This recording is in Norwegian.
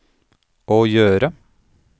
å gjøre